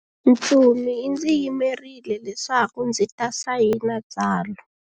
Ntsumi yi ndzi yimerile leswaku ndzi ta sayina tsalwa.